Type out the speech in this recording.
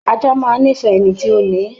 Ajá máa ń nífẹ̀ẹ́ ẹni tí ó ni ín